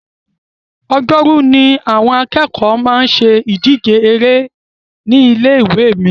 Ọjọ́rú ni àwọn akẹ́kọ̀ọ́ máa ń ṣe ìdíje eré ní ilé ìwé mi